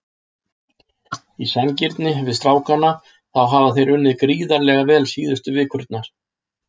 Í sanngirni við strákana þá hafa þeir unnið gríðarlega vel síðustu vikurnar.